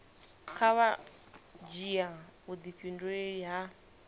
kha vha dzhia vhudifhinduleli ha